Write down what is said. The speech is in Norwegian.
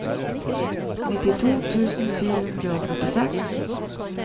nittito tusen fire hundre og førtiseks